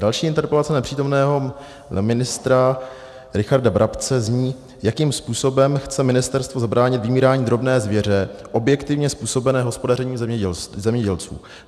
Další interpelace nepřítomného ministra Richarda Brabce zní: Jakým způsobem chce ministerstvo zabránit vymírání drobné zvěře objektivně způsobené hospodařením zemědělců?